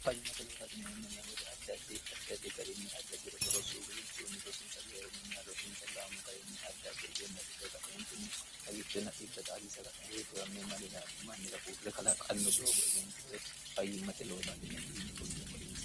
fyimmte loosnmnewote ddaddi addaddi garinni addaddi roso rossuhu gidinsuunni rosiinsa daeerinninna rosiinsa gaamo garinni addadde egennafidhega eeinni xagichonn de diwmme manir mannira huurre kalaqqannu doogo egentinore fayyimmate loosaatineei yine qullie morinsa